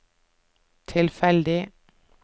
tilfeldig